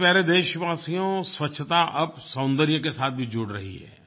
मेरे प्यारे देशवासियो स्वच्छता अब सौन्दर्य के साथ भी जुड़ रही है